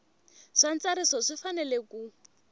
wa ntsariso swi fanele ku